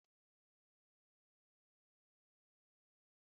Ị nwere ike ịkọrọ anyị akụkọ?